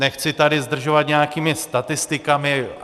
Nechci tady zdržovat nějakými statistikami.